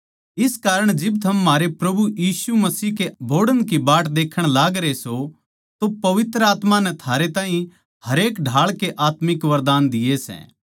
इस कारण जिब थम म्हारै प्रभु यीशु मसीह के बोहड़ की बाट देखण लागरे सों तो पवित्र आत्मा नै थारे ताहीं हरेक ढाळ के आत्मिक वरदान दिये सै